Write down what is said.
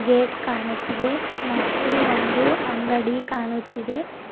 Gate ಕಾಣುತ್ತಿದೆ ಮತ್ತು ಒಂದು ಅಂಗಡಿ ಕಾಣುತ್ತಿದೆ.